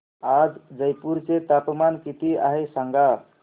आज जयपूर चे तापमान किती आहे सांगा